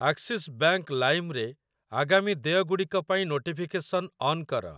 Axis bank Lime ରେ ଆଗାମୀ ଦେୟଗୁଡ଼ିକ ପାଇଁ ନୋଟିଫିକେସନ୍‌ ଅନ୍ କର ।